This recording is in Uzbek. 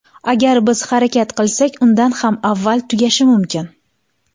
Agar biz harakat qilsak, undan ham avval tugashi mumkin.